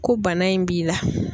Ko bana in b'i la.